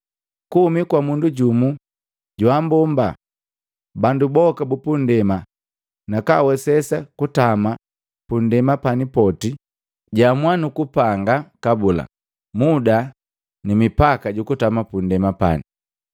Kuhumi kwa mundu jumu jaabomba bandu boka bupunndema nakaawesesa kutama punndema pani poti. Jaamua nuku panga kabula muda ni mipaka jukutama pundema pani.